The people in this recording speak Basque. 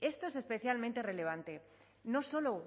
esto es especialmente relevante no solo